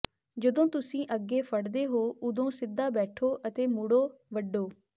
ਜਦੋਂ ਤੁਸੀਂ ਅੱਗੇ ਫੜਦੇ ਹੋ ਉਦੋਂ ਸਿੱਧਾ ਬੈਠੋ ਅਤੇ ਮੋੜੋ ਵੱਢੋ